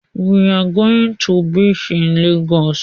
We are going to beach in Lagos.